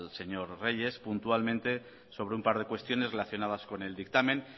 señor reyes puntualmente sobre un par de cuestiones relacionadas con el dictamen